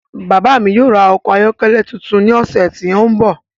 Bàbá mi yóò ra ọkọ̀ ayọ́kẹ́lẹ́ tuntun ní ọ̀sẹ̀ tí ń bọ̀.